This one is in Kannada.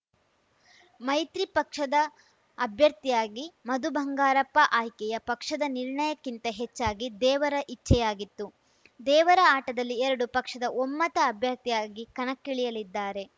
ಮೈತ್ರಿ ಪಕ್ಷದ ಅಭ್ಯರ್ಥಿಯಾಗಿ ಮಧು ಬಂಗಾರಪ್ಪ ಆಯ್ಕೆಯ ಪಕ್ಷದ ನಿರ್ಣಯಕ್ಕಿಂತ ಹೆಚ್ಚಾಗಿ ದೇವರ ಇಚ್ಛೆಯಾಗಿತ್ತು ದೇವರ ಆಟದಲ್ಲಿ ಎರಡೂ ಪಕ್ಷದ ಒಮ್ಮತ ಅಭ್ಯರ್ಥಿಯಾಗಿ ಕಣಕ್ಕಿಳಿಯಲಿದ್ದಾರೆ